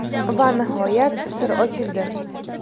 Va nihoyat, sir ochildi!